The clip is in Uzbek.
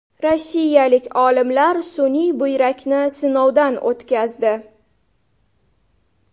Rossiyalik olimlar sun’iy buyrakni sinovdan o‘tkazdi.